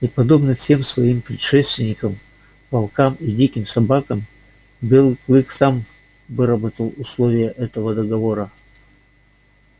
и подобно всем своим предшественникам волкам и диким собакам белый клык сам выработал условия этого договора